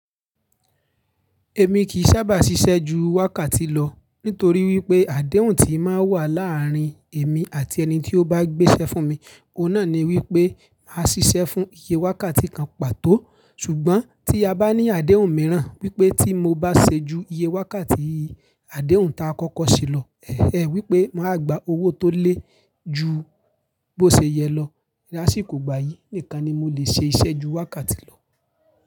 Èmi kìn sábà ṣiṣẹ́ ju wákàtí lọ nítorí wípé àdéhùn tíi máa wà láàárín èmi àti ẹni tí ó bá gbéṣẹ́ fún mi, òun náà ni wípé má ṣiṣẹ́ fún iye wákàtí kan pàtó. Ṣùgbọ́n tí a bá ní àdéhùn mìíràn wípé tí mo bá ṣe ju iye wákàtí, àdéhùn ta kọ́kọ́ ṣe lọ. Ẹ̀hn en, wípé máa gba owó tó lé ju bó ṣe yẹ lọ, rà sì kò gbayì, nìkan ni mo lè ṣe iṣẹ́ ju wákàtí lọ.